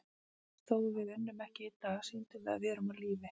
Þó við unnum ekki í dag, sýndum við að við erum á lífi.